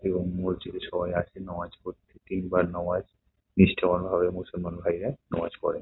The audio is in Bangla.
এবং মসজিদে সবাই আসে নামাজ পড়তে | তিনবার নামাজ নিষ্ঠাবান ভাবে মুসলমান ভাইয়েরা নামাজ পড়ে ।